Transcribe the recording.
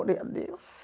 Orei a Deus.